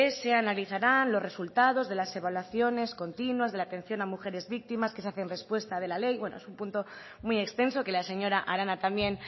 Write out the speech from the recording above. se analizarán los resultados de las evaluaciones continuas de la atención a mujeres víctimas que se hace en respuesta de la ley bueno es un punto muy extenso que la señora arana también